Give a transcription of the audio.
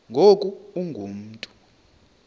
ngoku ungu mntu